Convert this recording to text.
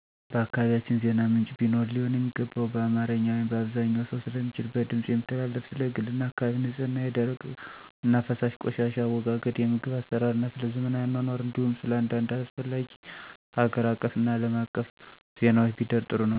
በአካባቢያቸን ዜና ምንጭ ቢኖር ሊሆን የሚገባው በአማርኛ(አብዛኛው ሰው ስለሚችል) በድምፅ የሚተላለፍና ስለ ግልና አካባቢ ንፅህና፣ የደረቅና ፈሳሽ ቆሻሻ አወጋገድ፣ የምግብ አሰራርና ስለዘመናዊ አኗኗር እንዲሁም ስለአንዳድ አስፈላጊ ሀገር አቀፍና አለም አቀፍ ዜናዎች ቢደር ጥሩ ነው። አንዳንድ ነገሮች የአካባቢው ሰው ተጋብዞ ቢያቀርብ ጥሩ ነው።